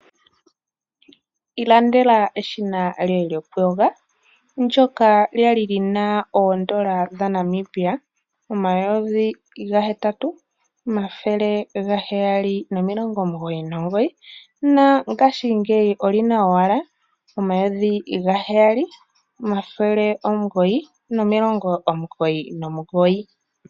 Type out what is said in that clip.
Ilandela eshina lyoye lyokuyonga, ndjoka lyali lina N$8799 na ngashi ngeyi olyina owala N$7 999.